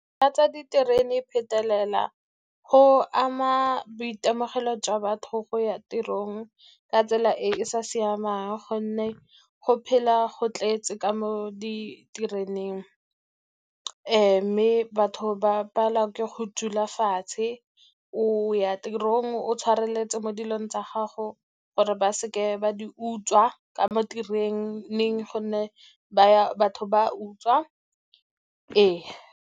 Ka tsa diterene phetelela go ama boitemogelo jwa batho go ya tirong ka tsela e e sa siamang, gonne go phela go tletse ka mo ditereneng, mme batho ba palelwa ke go dula fatshe. O ya tirong o tshwareletse mo dilong tsa gago gore ba seke ba di utswa ka mo tereneng, gonne ba batho ba utswa. Ee.